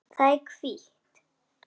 Það er hvítt.